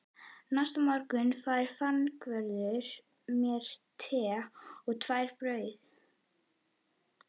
Næsta morgun færði fangavörður mér te og tvær brauð